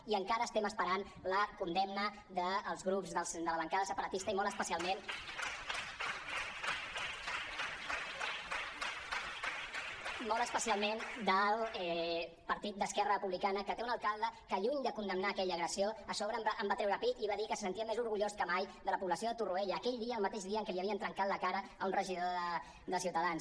i encara estem esperant la condemna dels grups de la bancada separatista i molt especialment ment del partit d’esquerra republicana que té un alcalde que lluny de condemnar aquella agressió a sobre va treure pit i va dir que se sentia més orgullós que mai de la població de torroella aquell dia el mateix dia en què li havien trencat la cara a un regidor de ciutadans